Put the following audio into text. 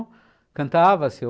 cantava seu